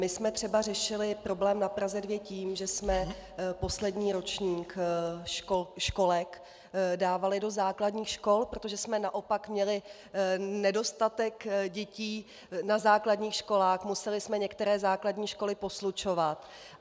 My jsme třeba řešili problém na Praze 2 tím, že jsme poslední ročník školek dávali do základních škol, protože jsme naopak měli nedostatek dětí na základních školách, museli jsme některé základní školy poslučovat.